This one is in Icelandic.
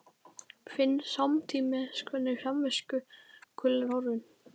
Finn samtímis hvernig samviskukvölin er horfin.